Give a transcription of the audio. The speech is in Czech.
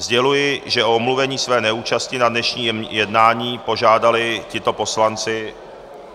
Sděluji, že o omluvení své neúčasti na dnešním jednání požádali tito poslanci...